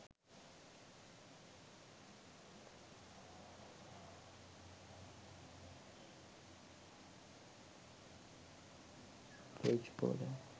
page border